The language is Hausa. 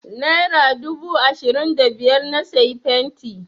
Nera dubu ashirin da biyar na sayi fenti.